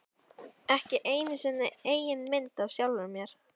Ekki einu sinni eigin mynd af sjálfum mér.